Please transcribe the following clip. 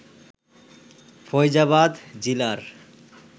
Faizabad জিলার